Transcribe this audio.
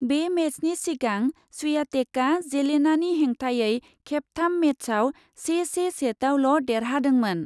बे मेचनि सिगां स्वियातेकआ जेलेनानि हेंथायै खेबथाम मेचआव से से सेटआवल' देरहादोंमोन ।